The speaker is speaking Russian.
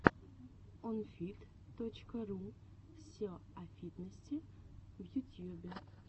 онфит точка ру все о фитнесе в ютьюбе